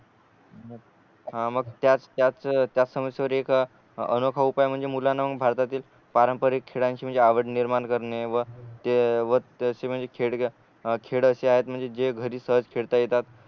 हा मग त्याच त्याच समस्सेवर एक अनोखा उपाय म्हणजे मुलांना मग भारतातील पारंपारिक खेळांची म्हणजे आवड निर्माण करणे व तशे म्हणजे खेळ खेळ अशे आहेत म्हणजे जे घरी सहज खेळता येतात